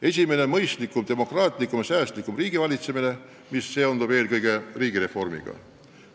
Esiteks: mõistlikum, demokraatlikum ja säästlikum riigivalitsemine, mis seondub eelkõige riigireformiga.